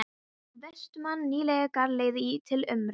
Um vorið fékk Vestmann nýlega galeiðu til umráða.